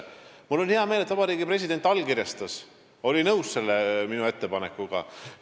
Mul on hea meel, et Vabariigi President allkirjastas selle ja oli minu ettepanekuga nõus.